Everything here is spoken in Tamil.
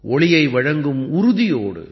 ஒளியை வழங்கும் உறுதியோடு